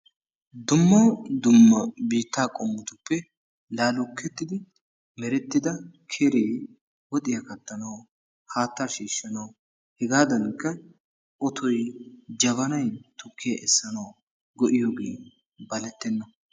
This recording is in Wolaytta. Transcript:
Dumma dumma biitta qommotuppe laalukettidi merettida keree woxiya kattanawu, haatta shiishshanawu, hegadankka otoy, jabanay tukkiya essanaw go''iyooge balettenna.